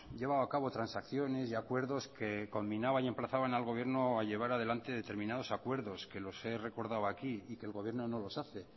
llevado a cabo transacciones y acuerdos que conminaban y emplazaban al gobierno a llevar adelante determinados acuerdos que los he recordado aquí y que el gobierno no los hace